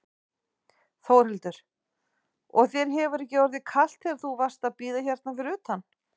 Þórhildur: Og þér hefur ekki orðið kalt þegar þú varst að bíða hérna fyrir utan?